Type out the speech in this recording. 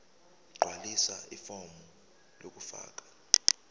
gqwalisa ifomu lokufaka